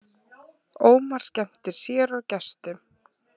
Ómar skemmtir sér og gestum